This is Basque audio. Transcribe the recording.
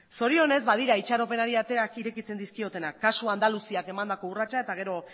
zorionez badira itxaropenari ateak irekitzen dizkiotenak kasu andaluziak emandako urratsak eta gero